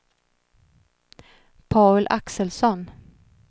Paul Axelsson